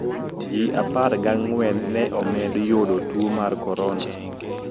Ji apar ga ng`wen ne omed yudo tuo mar korona.